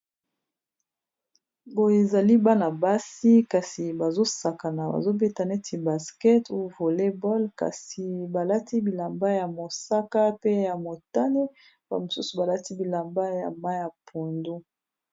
ngoyo ezali bana basi kasi bazosakana bazobeta neti basket u volebol kasi balati bilamba ya mosaka pe ya motane bamosusu balati bilamba ya ma ya pundu